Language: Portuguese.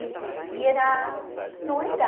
E e era... Não era...